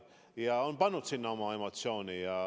Ta on pannud sinna kõvasti oma emotsiooni.